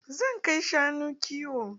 Zan kai shanu kiwo.